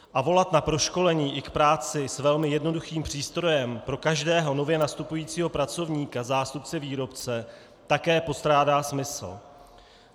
A volat na proškolení i k práci s velmi jednoduchým přístrojem pro každého nově nastupujícího pracovníka zástupce výrobce také postrádá smysl.